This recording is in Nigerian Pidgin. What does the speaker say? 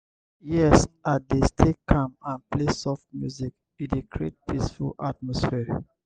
yes i dey stay calm and play soft music e dey create peaceful atmosphere.